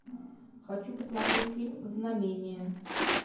хочу посмотреть фильм знамение